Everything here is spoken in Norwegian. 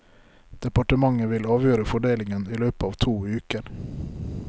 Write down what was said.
Departementet vil avgjøre fordelingen i løpet av to uker.